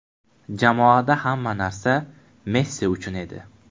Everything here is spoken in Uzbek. Jamoada hamma narsa Messi uchun edi”.